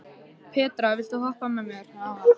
Petra, viltu hoppa með mér?